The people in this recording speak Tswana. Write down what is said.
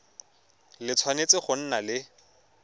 le tshwanetse go nna le